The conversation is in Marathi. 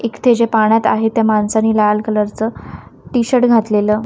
एक ते जे पाण्यात आहे त्या माणसाने लाल कलर चं टी_शर्ट घातलेलं --